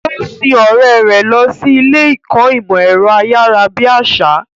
Ó sin ọ̀rẹ́ rẹ̀ lọ sí ilé ìkọ́ ìmọ̀ ẹ̀rọ ayárabíàṣá.